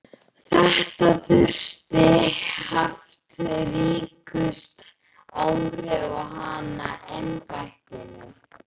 Þetta hafi haft ríkust áhrif á hana í embættinu.